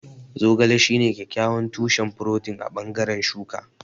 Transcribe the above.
Zogale shine kyakkyawan tushen furotin a bangaren shuka.